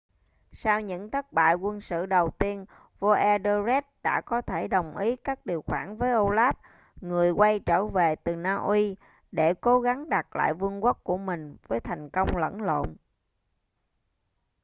sau những thất bại quân sự đầu tiên vua etherlred đã có thể đồng ý các điều khoản với olaf người quay trở về từ na uy để cố gắng đạt lại vương quốc của mình với thành công lẫn lộn